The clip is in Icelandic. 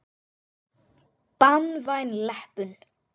Banvæn leppun.